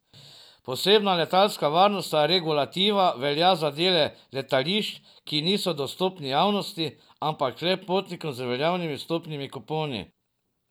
Posebna letalska varnostna regulativa velja za dele letališč, ki niso dostopni javnosti, ampak le potnikom z veljavnimi vstopnimi kuponi.